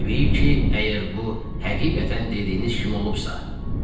Təbii ki, əgər bu həqiqətən dediyiniz kimi olubsa.